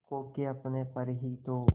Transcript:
खो के अपने पर ही तो